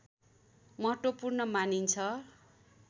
महत्वपूर्ण मानिन्छ